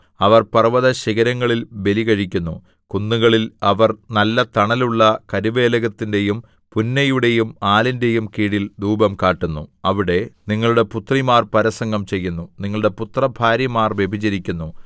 അവർ പർവ്വതശിഖരങ്ങളിൽ ബലികഴിക്കുന്നു കുന്നുകളിൽ അവർ നല്ല തണലുള്ള കരുവേലകത്തിന്റെയും പുന്നയുടെയും ആലിന്റെയും കീഴിൽ ധൂപം കാട്ടുന്നു അവിടെ നിങ്ങളുടെ പുത്രിമാർ പരസംഗം ചെയ്യുന്നു നിങ്ങളുടെ പുത്ര ഭാര്യമാർ വ്യഭിചരിക്കുന്നു